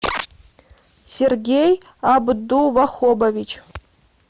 сергей абдувахобович